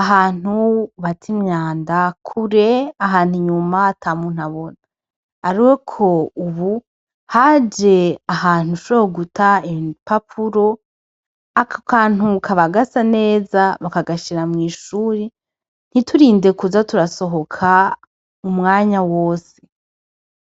ahantu bata imyanda kure ahantu inyuma ata muntu abona. Ariko ubu haje ahantu ushobobora guta ibipapuro, ako kantu kaba gasa neza bakagashira mw'ishure ntiturinde kuza turasohoka umwanya wose.